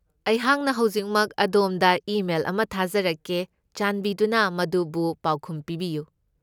ꯑꯩꯍꯥꯛꯅ ꯍꯧꯖꯤꯛꯃꯛ ꯑꯗꯣꯝꯗ ꯏꯃꯦꯜ ꯑꯃ ꯊꯥꯖꯔꯛꯀꯦ꯫ ꯆꯥꯟꯕꯤꯗꯨꯅ ꯃꯗꯨꯕꯨ ꯄꯥꯎꯈꯨꯝ ꯄꯤꯕꯤꯌꯨ꯫